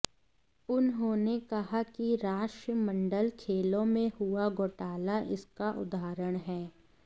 उन्होंने कहा कि राष्ट्रमंडल खेलों में हुआ घोटाला इसका उदाहरण है